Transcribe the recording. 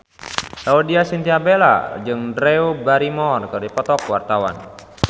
Laudya Chintya Bella jeung Drew Barrymore keur dipoto ku wartawan